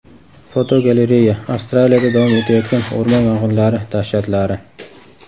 Fotogalereya: Avstraliyada davom etayotgan o‘rmon yong‘inlari dahshatlari.